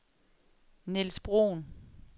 Nils Bruhn